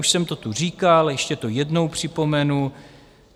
Už jsem to tu říkal, ještě to jednou připomenu.